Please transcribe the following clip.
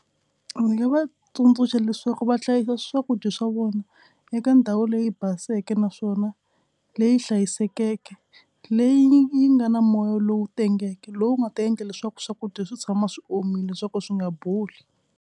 Ndzi nga va tsundzuxa leswaku va hlayisa swakudya swa vona eka ndhawu leyi baseke naswona leyi hlayisekeke. Leyi yi nga na moya lowu tengeke lowu nga ta endla leswaku swakudya swi tshama swi omile swa ku swi nga boli.